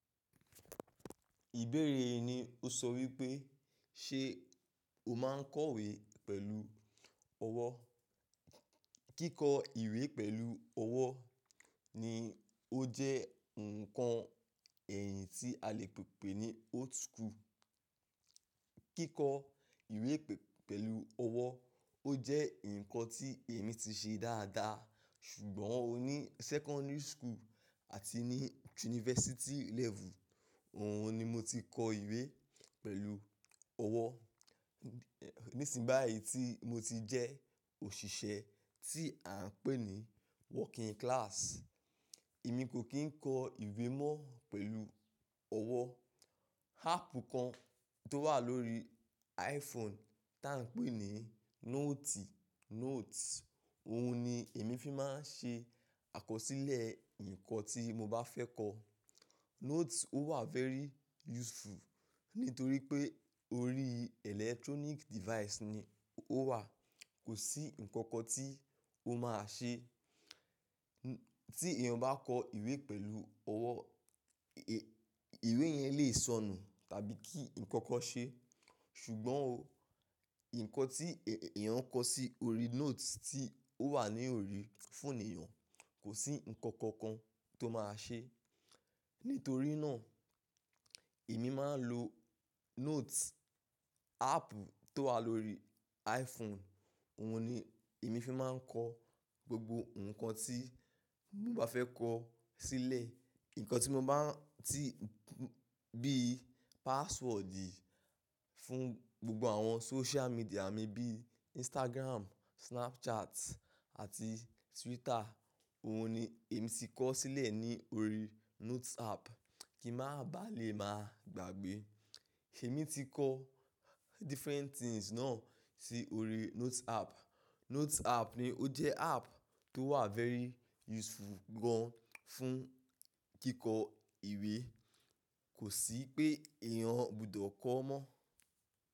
Ìbéèrè yí ni o sọ wípé ṣe o máa ń kọ ìwé pẹ̀lú ọwọ́? Kíkọ ìwé pẹ̀lú ọwọ́ ni ó jẹ́ ǹkan ẹ̀yìn tí a lè pè ni old school. Kíkọ ìwé pẹ̀lú ọwọ́ ó jẹ́ ǹkan tí èmi ti ṣe dáadáa, ṣùgbọ́n ò ní secondary school àti ní university level òun ni mo ti kọ ìwé pẹ̀lú ọwọ́. Nísìn báyìí tí mo ti jẹ́ òṣìṣẹ́ tí à ń pè ní working class, èmi kò kí ń kọ ìwé mọ́ pẹ̀lú ọwọ́. Áàpù kan tó wà lórí iPhone tí à ń pè ní notes, òun ni èmi fi máa ń ṣe àkọsílẹ̀ ǹkan tí mo bá fẹ́ kọ. Notes ó wà very useful nítorí pé orí electronic device ni ó wà. Kò sí ǹkankan tí ó máa ṣe. Tí èèyàn bá kọ ìwé pẹ̀lú ọwọ́, ìwé yẹn lè sọnù tàbí kí ǹkankan ṣe. Ṣùgbọ́n oh, ǹkan tí èèyàn kọ sí orí notes tí ó wà ní orí fóònù èèyàn, kò sí ǹkankan kan tó máa ṣe. Nítorí náà, èmi máa ń lo notes, áàpù tó wà lórí iPhone, òun ni èmi fi máa ń kọ gbogbo ǹkan tí mo bá fẹ́ kọ sílẹ̀. Ǹkan tí mo bá tí bí password fún gbogbo àwọn social media mi bíi Instagram, Snapchat àti Twitter, òun ni èmi ti kọ sílẹ̀ ní orí notes app kí mà bá lè máa gbàgbé. Èmi ti kọ different things náà sí orí notes app. Notes app ni ó jẹ́ áàpù tó wà very useful gan fún kíkọ ìwé. Kò sí pé èèyàn gbọdọ̀ kọ ọ́ mọ́.